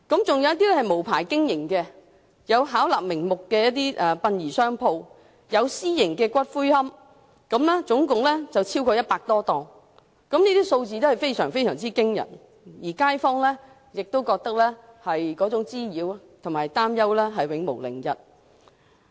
再加上無牌經營的情況，包括巧立名目的殯葬商鋪及私營龕場，殯葬經營者總數超過100多間，數字相當驚人，對街坊構成滋擾和擔憂，使他們永無寧日。